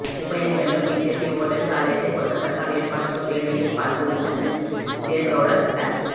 ఉప ఎన్నికల్లో బిజెపి ఓటమిపాలైతే కొత్త సర్కారు ఏర్పాటులో జెడిఎస్ పాత్ర ఉంటుందని దేవెగౌడ చెప్పారు